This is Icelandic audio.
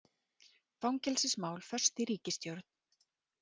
Fangelsismál föst í ríkisstjórn